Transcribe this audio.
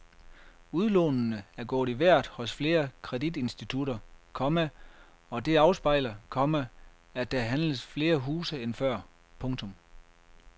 Udlånene er gået i vejret hos flere kreditinstitutter, komma og det afspejler, komma at der handles flere huse end før. punktum